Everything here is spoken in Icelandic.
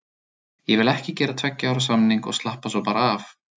Ég vil ekki gera tveggja ára samning og slappa svo bara af.